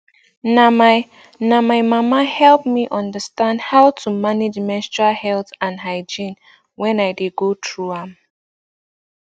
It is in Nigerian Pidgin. na my na my mama help me understand how to manage menstrual health and hygiene wen i dey go through am